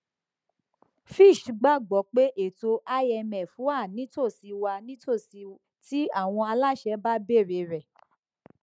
fitch gbagbọ pe eto imf wa nitosi wa nitosi ti awọn alaṣẹ ba beere rẹ